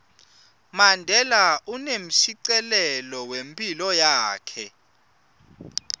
mandela unemshicilelo wephilo yakhe